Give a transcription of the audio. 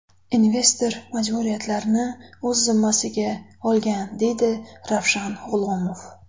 Investor majburiyatlarni o‘z zimmasiga olgan”, deydi Ravshan G‘ulomov.